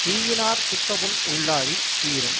தீயினாற் சுட்டபுண் உள்ளாறித் தீரும்